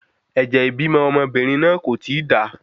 Ẹ̀jẹ̀ ibímọ ọmọbìnrin náà kò ti da